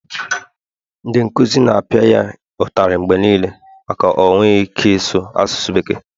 ndị nkuzi na-apịa ya ụtalị mgbe niile maka o enweghị ike ịsụ asụsụ bekee